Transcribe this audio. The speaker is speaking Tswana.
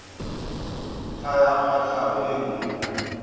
ntlha ya kwatlhao e nngwe